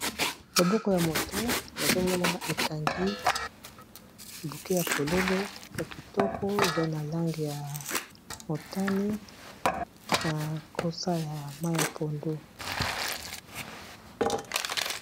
Loboko ya moto nazo mona ekangi buke ya fololo ya kitoko eza na langi ya motane na kosa ya mayi ya pondu.